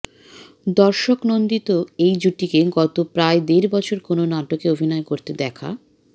দর্শকনন্দিত এই জুটিকে গত প্রায় দেড় বছর কোনো নাটকে অভিনয় করতে দেখা